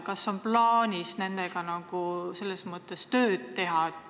Kas on plaanis nendega selles mõttes tööd teha?